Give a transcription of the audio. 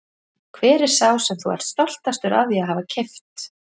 Hver er sá sem þú ert stoltastur af því að hafa keypt?